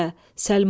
Səlma.